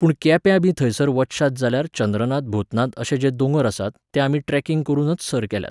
पूण केप्यांबी थंयसर वचशात जाल्यार चंद्रनाथ भूतनाथ अशे जे दोंगर आसात, ते आमी ट्रॅकिंग करूनच सर केल्यात.